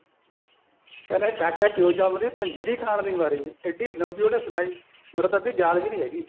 ਕਹਿੰਦਾ ਕਾਕਾ ਕਿਉਂ ਜੰਮ ਦੀ ਪੰਜੀਰੀ ਖਾਣ ਦੀ ਮਾਰੀ ਐਡੀ ਲੰਬੀ ਉਹਨੇ ਸੁਨਾਈ ਮੇਰੇ ਤਾਂ ਅੱਧੀ ਯਾਦ ਵੀ ਨਹੀਂ ਹੈਗੀ